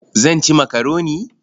Zan ci makaroni.